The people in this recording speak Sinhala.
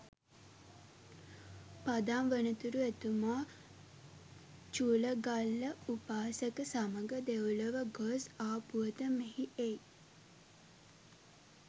පදම් වනතුරු එතුමා චුලගල්ල උපාසක සමඟ දෙව්ලොව ගොස් ආ පුවත මෙහි එයි.